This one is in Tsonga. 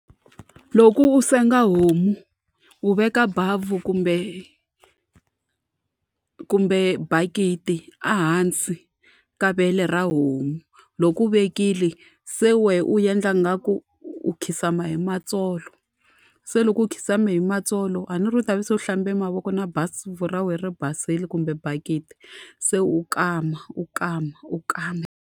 Loko u senga homu u veka bavhu kumbe kumbe bakiti ehansi ka vele ra homu. Loko u vekile se u wena u endla ingaku u khidzama hi matsolo, se loko u khidzame hi matsolo a ni ri u ta va se u hlamba mavoko na ra wena ri basile kumbe bakiti, se u kama, u kama, u kama.